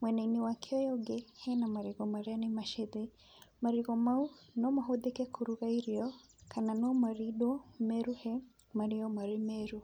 mwenainĩ wake ũyũ ũngĩ, hena marigũ marĩa nĩ macĩthĩ, marigũ mau no mahũthĩke kũruga irio kana no marindwo, meruhe, marĩo marĩ meru.